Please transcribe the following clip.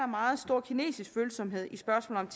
meget stor kinesisk følsomhed i spørgsmålet